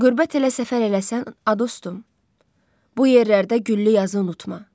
Qürbət elə səfər eləsən, a dostum, bu yerlərdə güllü yazı unutma.